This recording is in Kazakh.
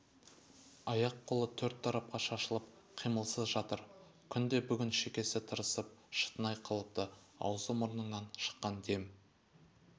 аяқ-қолы төрт тарапқа шашылып қимылсыз жатыр күн де бүгін шекесі тырысып шытынай қалыпты аузы-мұрныңнан шыққан дем